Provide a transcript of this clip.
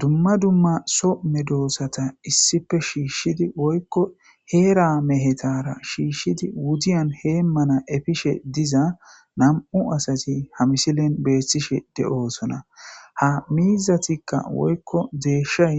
dumma dumma some doossata issife shiishshidi woykko heera mehetara shiishshidi wudiyan heemmana efishe diza nam7u asati ha misilen beethtishe de7oosona ha miizatikka woykko deeshay